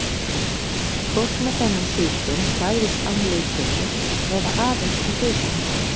Fólk með þennan sjúkdóm fæðist án lithimnu eða aðeins með hluta hennar.